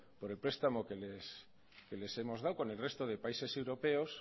por el prestamos que les hemos dado con el resto de países europeos